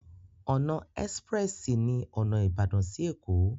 Ọ̀nà ẹ́sprẹ́sì ní ọ̀nà Ìbàdàn sí Ẹ̀kó.